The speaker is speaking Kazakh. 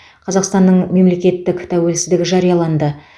қазақстанның мемлекеттік тәуелсіздігі жарияланды